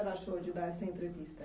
achou de dar essa entrevista?